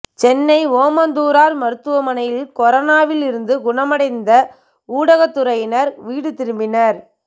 சென்னை ஓமந்தூரார் மருத்துவமனையில் கொரோனாவில் இருந்து குணமடைந்த ஊடகத்துறையினர் வீடு திரும்பினர்